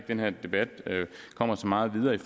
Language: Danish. den her debat kommer så meget videre af